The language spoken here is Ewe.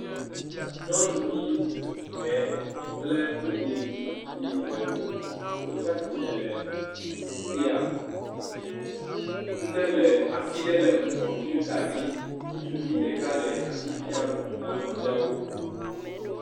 Nyɔnuvi ɖɛɛ kple ŋutsuvi ɖɛwo, wotsa tsi tre ɖe fi ya. ŋɖe le, asi ɖe le kɔmpiuta dzi. Ŋutsuvi ɖeka le asi fiam na nɔviawo.